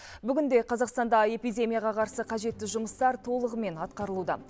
бүгінде қазақстанда эпидемияға қарсы қажетті жұмыстар толығымен атқарылуда